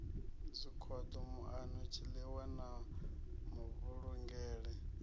zwikhoḓo muano tshiilwa na mavhulungele